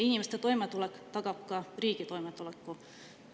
Inimeste toimetulek tagab ka riigi toimetuleku.